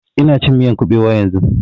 Ina cin miyan ƙubewa yanzun